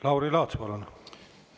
Lauri Laats, palun!